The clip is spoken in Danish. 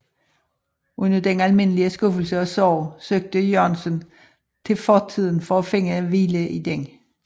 Under den almindelige skuffelse og sorg søgte Jørgensen til fortiden for at finde hvile i den